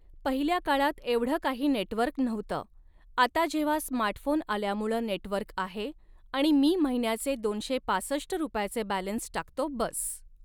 पहिल्या काळात एवढं काही नेटवर्क नव्हतं, आता जेव्हा स्मार्टफोन आल्यामुळं नेटवर्क आहे आणि मी महिन्याचे दोनशे पासष्ट रुपयाचे बॅलन्स टाकतो बस